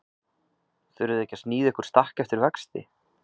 Þurfið þið ekki að sníða ykkur stakk eftir vexti?